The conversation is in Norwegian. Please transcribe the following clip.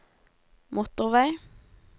motorvei